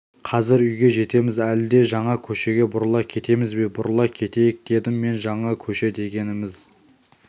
қазір үйге жетеміз әлде жаңа көшеге бұрыла кетеміз бе бұрыла кетейік дедім мен жаңа көше дегеніміз